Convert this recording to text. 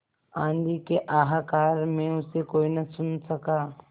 आँधी के हाहाकार में उसे कोई न सुन सका